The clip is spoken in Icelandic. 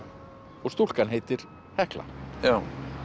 og stúlkan heitir Hekla já